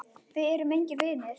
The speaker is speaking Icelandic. Við erum engir vinir.